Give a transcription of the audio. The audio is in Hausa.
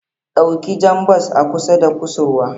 Dauki jan bas a kusa da kusurwa.